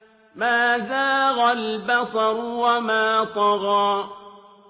مَا زَاغَ الْبَصَرُ وَمَا طَغَىٰ